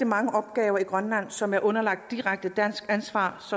mange opgaver i grønland som er underlagt direkte dansk ansvar